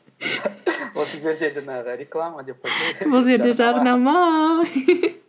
осы жерде жаңағы реклама деп қойсай бұл жерде жарнама